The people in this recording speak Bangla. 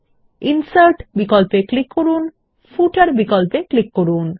এখন মেনু বারের ইনসার্ট বিকল্পে ক্লিক করুন এবং তারপর ফুটার বিকল্পে ক্লিক করুন